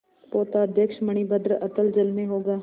पोताध्यक्ष मणिभद्र अतल जल में होगा